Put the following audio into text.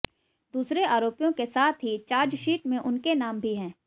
दूसरे आरोपियों के साथ ही चार्जशीट में उनके नाम भी हैं